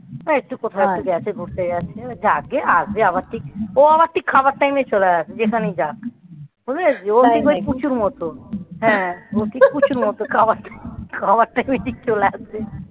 একটু কোথায় আছে? ঘুরতে যাচ্ছি. বলছে আগে আর যাকে আসবে আবার ঠিক ও আবার ঠিক খাবার time এ চলে আসে যেখানেই যাক ওই পুচুর মতো খাবার time এ চলে আসে খাবার time এ চলে আসে,